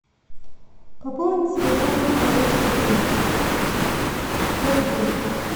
пополнить телефон михаила сергеевича сто рублей